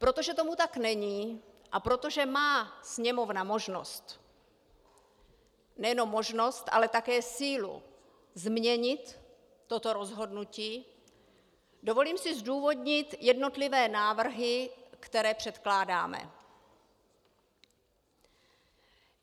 Protože tomu tak není a protože má Sněmovna možnost - nejenom možnost, ale také sílu změnit toto rozhodnutí, dovolím si zdůvodnit jednotlivé návrhy, které předkládáme.